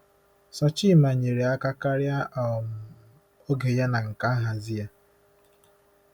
Sochimma nyere aka karịa um oge ya na nka nhazi ya.